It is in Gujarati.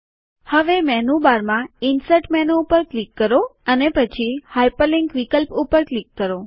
હવે મેનુબારમાં ઇન્સર્ટ મેનુ પર ક્લિક કરો અને પછી હાઇપરલિન્ક વિકલ્પ ઉપર ક્લિક કરો